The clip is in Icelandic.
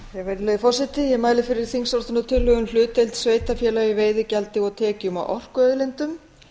virðulegi forseti ég mæli fyrir þingsályktunartillögu um hlutdeild sveitarfélaga í veiðigjaldi og tekjum af orkuauðlindum